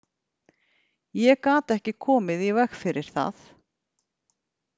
Ég gat ekki komið í veg fyrir það.